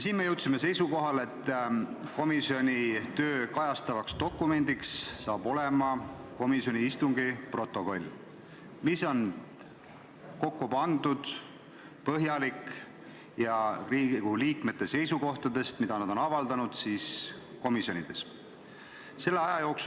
Me jõudsime seisukohale, et komisjoni tööd kajastavaks dokumendiks hakkab olema komisjoni istungi protokoll, mis on põhjalik ja kajastab Riigikogu liikmete seisukohti, mida nad on komisjoni koosolekutel avaldanud.